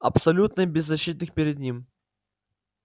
абсолютно беззащитных перед ним